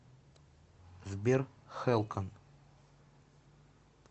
сбер хэлкон